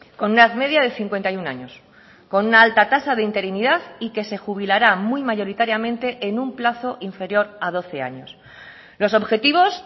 con una media de cincuenta y uno años con una alta tasa de interinidad y que se jubilará muy mayoritariamente en un plazo inferior a doce años los objetivos